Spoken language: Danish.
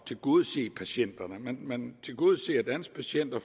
tilgodese patienterne man tilgodeser danske patienter